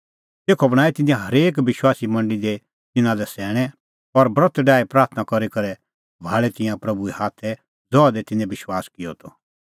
तेखअ बणांऐं तिन्नैं हरेक विश्वासी मंडल़ी दी तिन्नां लै सैणैं और ब्रत डाही प्राथणां करी करै सभाल़ै तिंयां प्रभूए हाथै ज़हा दी तिन्नैं विश्वास किअ त